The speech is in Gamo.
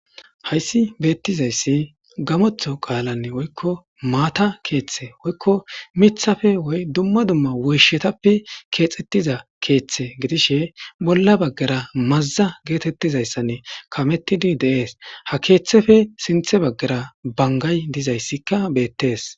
Haysi bettizayssi gammotho qalan woykko maata keththa miththappe woy dumma dumma woyshetape kexxetiza keththe gidishin bolla baggara maza gettetizassan kametidi de7es ha keththeppe sinththe banggara banggay dizaysika bettes.